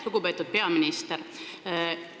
Lugupeetud peaminister!